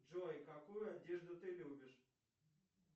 джой какую одежду ты любишь